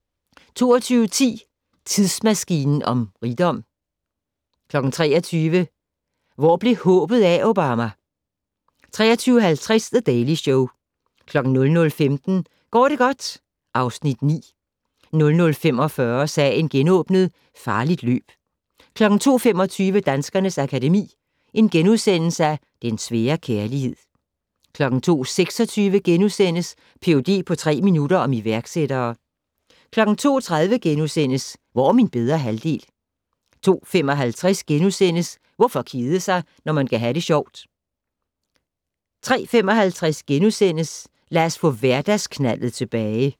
22:10: Tidsmaskinen om rigdom 23:00: Hvor blev håbet af, Obama? 23:50: The Daily Show 00:15: Går det godt? (Afs. 9) 00:45: Sagen genåbnet: Farligt løb 02:25: Danskernes Akademi: Den svære kærlighed * 02:26: Ph.d. på tre minutter - om iværksættere * 02:30: Hvor er min bedre halvdel? * 02:55: Hvorfor kede sig når man kan ha' det sjovt? * 03:55: Lad os få hverdagsknaldet tilbage *